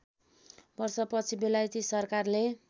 वर्षपछि बेलायती सरकारले